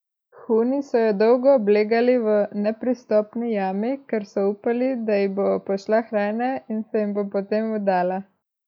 Huni so jo dolgo oblegali v nepristopni jami, ker so upali, da ji bo pošla hrana in da se jim bo potem vdala.